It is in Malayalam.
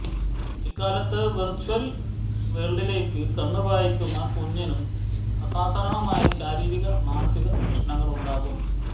ഈ കാലത്ത് വെര്ച്ച്വല് വേള്ഡിലേക്കു കണ്ണ് പായിക്കുന്ന കുഞ്ഞിനും അസാധാരണമായ ശാരീരിക മാനസിക പ്രശ്നങ്ങളുണ്ടാകും